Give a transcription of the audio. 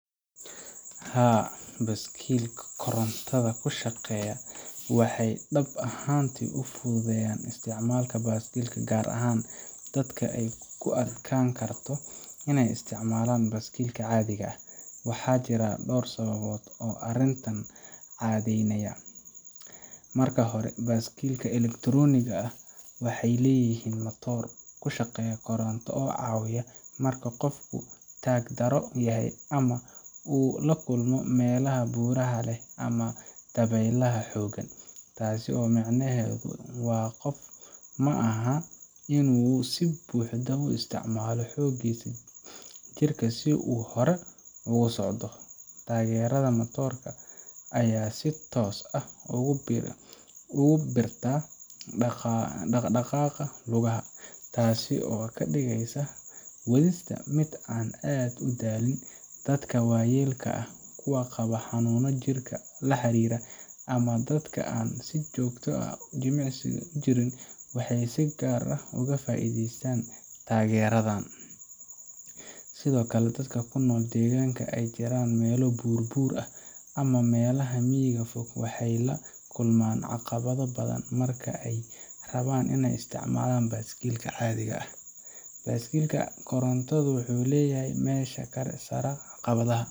Haa, baaskiilada korontada ku shaqeeya waxay dhab ahaantii fududeeyaan isticmaalka baaskiilka, gaar ahaan dadka ay ku adkaan karto in ay isticmaalaan baaskiil caadi ah. Waxaa jira dhowr sababood oo arrintan caddeynaya. Marka hore, baaskiilada elektarooniga ah waxay leeyihiin matoor ku shaqeeya koronto oo caawiya marka qofku taag daro yahay ama uu la kulmo meelaha buuraha leh ama dabaylaha xooggan. Taas micnaheedu waa qofka ma aha in uu si buuxda u isticmaalo xoogiisa jirka si uu hore ugu socdo. Taageerada matoorka ayaa si toos ah ugu biirta dhaqdhaqaaqa lugaha, taasi oo ka dhigaysa wadista mid aan aad u daalin. Dadka waayeelka ah, kuwa qaba xanuuno jirka la xiriira, ama dadka aan si joogto ah u jimicsan jirin waxay si gaar ah uga faa’iidaystaan taageeradan. Sidoo kale, dadka ku nool deegaanka ay jiraan meelo buur-buur ah ama meelaha miyiga fog waxay la kulmaan caqabado badan marka ay rabaaan in ay isticmaalaan baaskiil caadi ah. Baaskiil koronto leh wuxuu meesha ka saaraa caqabadaas